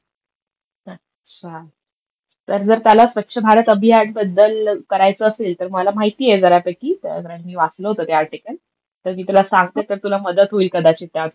अच्छा. तर जर त्याला स्वच्छ भारत अभियान बद्दल करायचं असेल, तर मला माहितीये बऱ्यापैकी, तर मी वाचलं होतं ते आर्टिकल. तर मी तुला सांगते तर तुला मदत होईल कदाचित त्यातून.